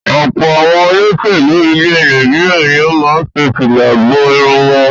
Ọ̀pọ̀ àwọn olóṣèlú ilẹ̀ Nàìjíríà ni ó máa ń fi fìlà bo irun wọn.